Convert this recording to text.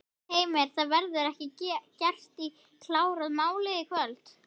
Heimir: Það verður ekki gert í, klárað málið í kvöld?